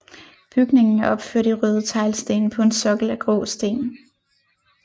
Bygningen er opført i røde teglsten på en sokkel af grå sten